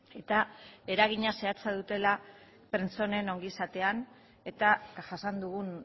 eta eragina zehatza dutela pertsonen ongizatean eta jasan dugun